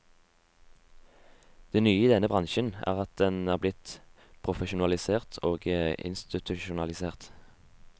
Det nye i denne bransjen er at den er blitt profesjonalisert og institusjonalisert.